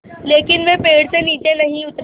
लेकिन वे पेड़ से नीचे नहीं उतरे